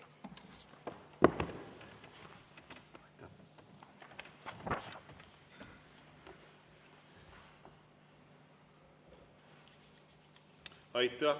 Aitäh!